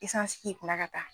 k'i kunna ka taa